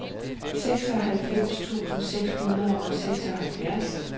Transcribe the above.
seksoghalvfems tusind seks hundrede og seksoghalvfjerds